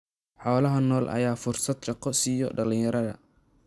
Xoolaha nool ayaa fursad shaqo siiya dhalinyarada.